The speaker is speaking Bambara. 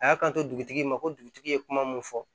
A y'a kanto dugutigi ma ko dugutigi ye kuma mun fɔ